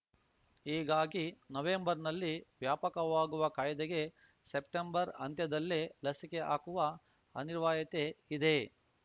ಹೀಗಾಗಿ ನವೆಂಬರ್‌ನಲ್ಲಿ ವ್ಯಾಪಕವಾಗುವ ಕಾಯ್ದೆಗೆ ಸೆಪ್ಟೆಂಬರ್‌ ಅಂತ್ಯದಲ್ಲೇ ಲಸಿಕೆ ಹಾಕುವ ಅನಿರ್ವಾಯತೆ ಇದೆ